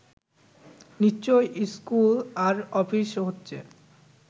নিশ্চয়ই স্কুল আর অফিস হচ্ছে